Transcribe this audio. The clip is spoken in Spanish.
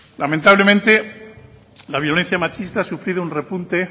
lamentablemente la violencia machista ha sufrido un repunte